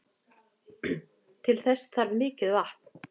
Til þess þarf mikið vatn.